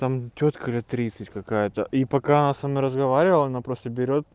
там тётка лет тридцать какая-то и пока она со мной разговаривала она просто берёт